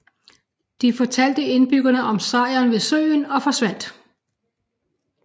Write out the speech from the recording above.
De fortalte indbyggerne om sejren ved søen og forsvandt